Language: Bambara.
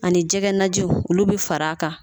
Ani jɛgɛ najiw olu bi fara a kan.